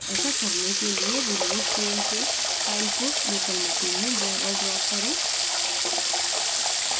ऐसा करने के लिए remote pane से फ़ाइल को local machine में drag और drop करें